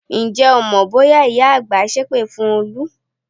Ǹjẹ́ o mọ bóyá ìyá àgbà sépè fún Olú?